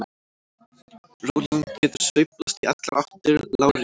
Rólan getur sveiflast í allar áttir lárétt.